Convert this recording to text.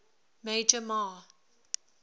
major mah